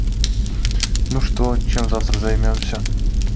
ну что чем завтра займёмся